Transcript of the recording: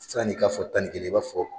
San'i k'a fɔ tan ni kelen, i b'a fɔ